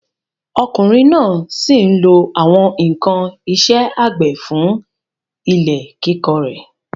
Ọkùnrin náà sí n lo àwọn ǹkan isẹ́ àgbẹ̀ fún ilẹ̀ kíkọ rẹ̀